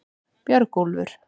Björgúlfur